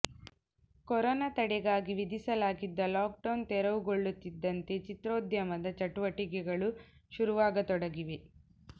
corona ತಡೆಗಾಗಿ ವಿಧಿಸಲಾಗಿದ್ದ lockdown ತೆರವುಗೊಳ್ಳುತ್ತಿದ್ದಂತೆ ಚಿತ್ರೋದ್ಯಮದ ಚಟುವಟಿಕೆಗಳು ಶುರುವಾಗತೊಡಗಿವೆ